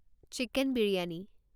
chicken biryani